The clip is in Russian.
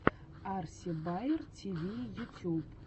арси баер тиви ютюб